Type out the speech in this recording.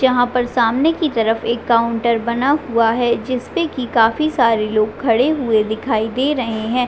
जहां पर सामने की तरफ एक काउंटर बना हुआ है जिसपे की काफी सारे लोग खड़े हुए दिखाई दे रहे है।